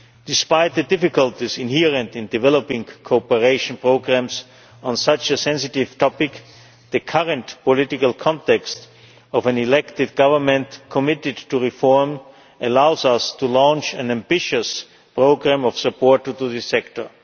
Despite the difficulties inherent in developing cooperation programmes on such a sensitive topic, the current political context of an elected government committed to reform allows us to launch an ambitious programme of support for the sector.